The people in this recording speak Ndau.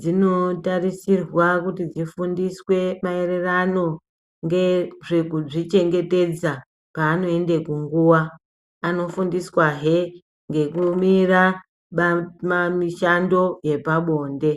dzinotarisirwa kuti dzIfundiswe maererano ngedzekuzvichengetedza paanoende kunguwaanofundiswa he ngekumira ba mamishando yepabonde.